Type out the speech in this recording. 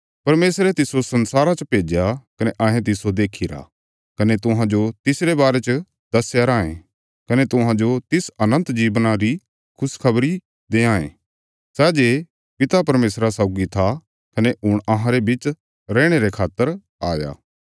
परमेशरे तिस्सो संसारा च भेज्या कने अहें तिस्सो देक्खीरा कने तुहांजो तिस अनन्त जीवना रे बारे च दस्या कने घोषणा कित्ती सै जे पिता परमेशरा सौगी था कने हुण अहांरे बिच रैहणे रे खातर आया